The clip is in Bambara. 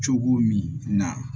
Cogo min na